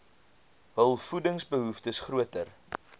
hul voedingsbehoeftes groter